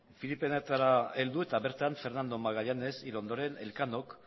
filipinetara heldu eta bertan fernando magallanes hil ondoren elkanok